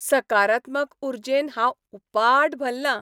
सकारात्मक उर्जेन हांव उपाट भल्लां.